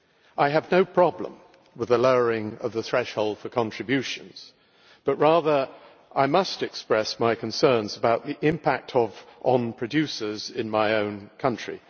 I have no problem with the lowering of the threshold for contributions, but rather I must express my concerns about the impact on producers in my own country.